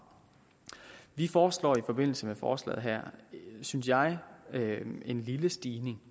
vi foreslår i forbindelse med forslaget her en synes jeg lille stigning